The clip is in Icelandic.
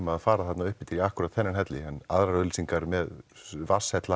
að fara þarna upp eftir í akkúrat þennan helli en aðrar auglýsingar með